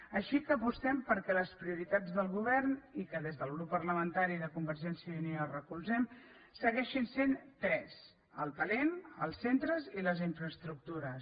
així que apostem perquè les prioritats del govern i que des del grup parlamentari de convergència i unió recolzem segueixin sent tres el talent els centres i les infraestructures